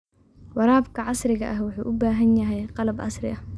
Waraabka casriga ahi wuxuu u baahan yahay qalab casri ah.